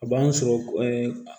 A b'an sɔrɔ